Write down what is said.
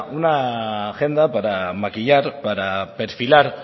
una agenda para maquillar para perfilar